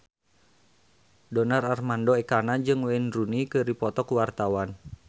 Donar Armando Ekana jeung Wayne Rooney keur dipoto ku wartawan